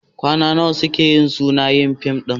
Kwana nawa suka yi suna yin fim ɗin?